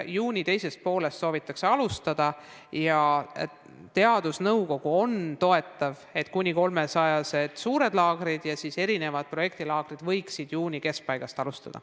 Juuni teisest poolest soovitakse alustada ja teadusnõukogu on toetav, et kuni 300-sed suured laagrid ja erinevad projektilaagrid võiksidki juuni keskpaigast alustada.